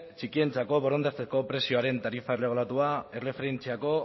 txikientzako borondatezko prezioaren tarifa erregulatua erreferentziako